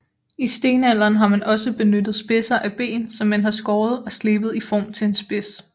I stenalderen har man også benyttet spidser af ben som man har skåret og slebet i form til en spids